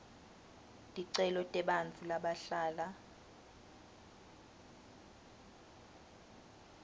ticelo tebantfu labahlala